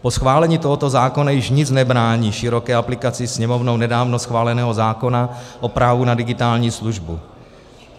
Po schválení tohoto zákona již nic nebrání široké aplikaci Sněmovnou nedávno schváleného zákona o právu na digitální službu.